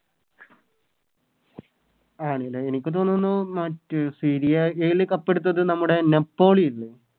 ആണ് ലെ എനിക്ക് തോന്നുന്നു മറ്റേ Serie a ല് കപ്പെടുത്തത് നമ്മളെ Napoli ഇല്ലേ